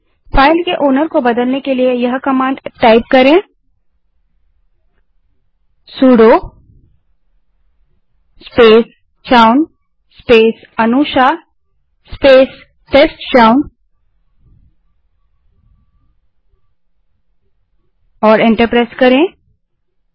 file के मालिकओनर को बदलने के लिए सुडो स्पेस c ह own space that is a n u s h आ Anusha space test chown that is t e s t c h o w n command type करें और एंटर दबायें